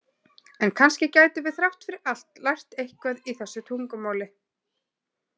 En kannski gætum við þrátt fyrir allt lært eitthvað í þessu tungumáli?